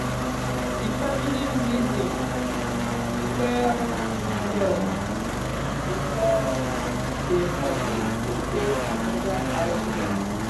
d family reason well well um before dem agree to pay another house rent